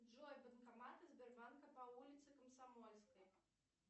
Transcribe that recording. джой банкоматы сбербанка по улице комсомольской